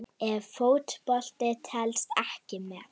Ef Fótbolti telst ekki með?